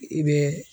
I bɛ